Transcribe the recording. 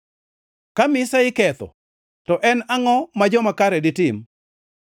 Ka mise iketho, to en angʼo ma joma kare ditim?”